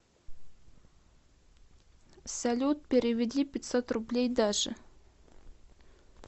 салют переведи пятьсот рублей даше